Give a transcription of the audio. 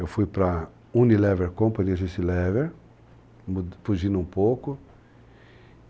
Eu fui para a Unilever Company, a Agência Unilever, fugindo um pouco.